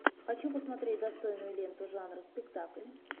хочу посмотреть достойную ленту жанра спектакль